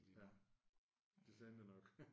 Ja det tænkte jeg nok